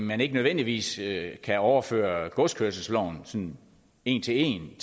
man ikke nødvendigvis kan overføre godskørselsloven sådan en til en